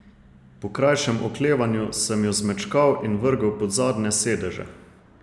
Po krajšem oklevanju sem jo zmečkal in vrgel pod zadnje sedeže.